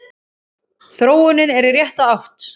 Þróunin er í rétta átt.